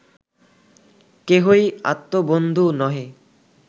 কেহই আত্মবন্ধু নহে